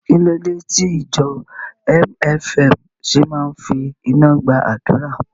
Kí ló dé tí ìjọ MFM ṣe máa ń fi iná gba àdúrà?